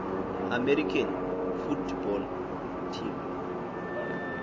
american football team